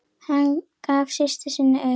Hann gefur systur sinni auga.